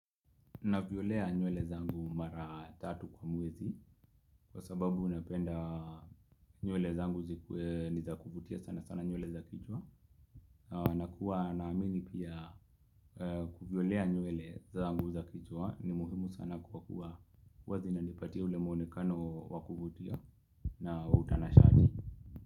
Navyolea nywele zangu mara tatu kwa mwezi Kwa sababu napenda nywele zangu zikuwe ni za kuvutia sana sana nywele za kichwa na kuwa naamini pia kuvilea nywele zangu za kichwa ni muhimu sana kwa kuwa huwa zinanipatia ule mwonekano wa kuvutia na utanashati.